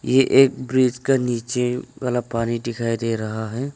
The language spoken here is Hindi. यह एक ब्रिज का नीचे वाला पानी दिखाई दे रहा है।